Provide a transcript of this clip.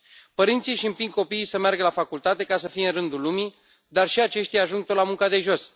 Părinții își împing copiii să meargă la facultate ca să fie în rândul lumii, dar și aceștia ajung tot la munca de jos.